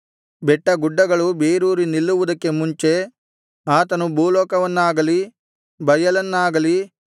ಬೆಟ್ಟಗುಡ್ಡಗಳು ಬೇರೂರಿ ನಿಲ್ಲುವುದಕ್ಕೆ ಮುಂಚೆ ಆತನು ಭೂಲೋಕವನ್ನಾಗಲಿ ಬಯಲನ್ನಾಗಲಿ